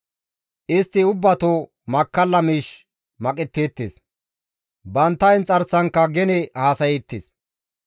Istti ubbato makkalla miish maqetteettes; bantta inxarsankka gene haasayeettes.